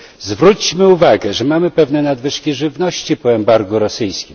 Zwróćmy uwagę, że mamy pewne nadwyżki żywności po embargu rosyjskim.